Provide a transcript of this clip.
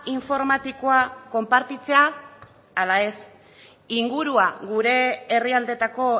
informatikoak konpartitzea ala ez ingurua gure herrialdetako